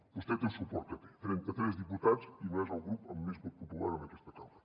vostè té el suport que té trenta tres diputats i no és el grup amb més vot popular en aquesta cambra